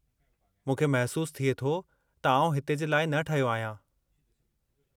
मूंखे महिसूसु थिए थो त आउं हिते जे लाइ न ठहियो आहियां।